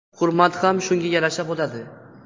Hurmat ham shunga yarasha bo‘ladi.